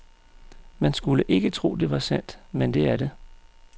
Man skulle ikke tro, det var sandt, men det er det.